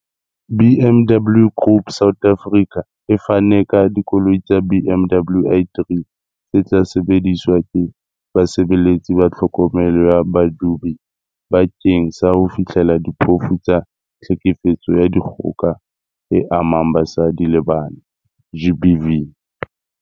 BMW Group South Africa e fane ka dikoloi tsa BMW i3 tse tla sebediswa ke basebeletsi ba tlhokomelo ya badudi bakeng sa ho fihlella diphofu tsa tlhekefetso ya dikgoka e amang basadi le bana GBV.